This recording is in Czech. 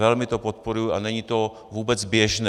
Velmi to podporuji a není to vůbec běžné.